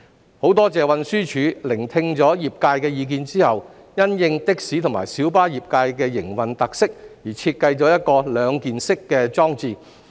我很多謝運輸署聆聽了業界的意見後，因應的士及小巴業界的營運特色而設計了一個兩件式裝置。